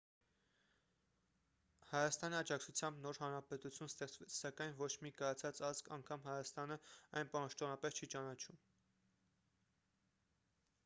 հայաստանի աջակցությամբ նոր հանրապետություն ստեղծվեց սակայն ոչ մի կայացած ազգ անգամ հայաստանը այն պաշտոնապես չի ճանաչում